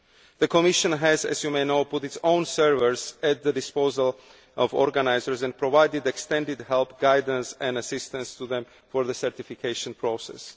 The Commission has put its own servers at the disposal of organisers and provided extended help, guidance and assistance to them for the certification process.